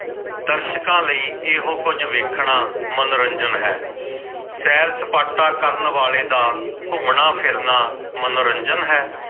ਦਰਸ਼ਕਾਂ ਲਈ ਇਹੋ ਕੁਝ ਵੇਖਣਾ ਮਨੋਰੰਜਨ ਹੈ ਸੈਰ ਸਪਾਟਾ ਕਰਨ ਵਾਲੇ ਦਾ ਘੁੰਮਣਾ ਫਿਰਨਾ ਮਨੋਰੰਜਨ ਹੈ ।